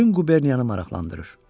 bütün Quberniyanı maraqlandırır.